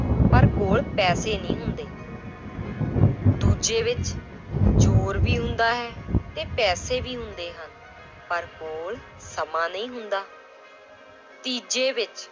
ਪਰ ਕੋਲ ਪੈਸੇ ਨਹੀਂ ਹੁੰਦੇl ਦੂਜੇ ਵਿੱਚ ਜ਼ੋਰ ਵੀ ਹੁੰਦਾ ਹੈ ਤੇ ਪੈਸੇ ਵੀ ਹੁੰਦੇ ਹਨ ਪਰ ਕੋਲ ਸਮਾਂ ਨਹੀਂ ਹੁੰਦਾ l ਤੀਜੇ ਵਿੱਚ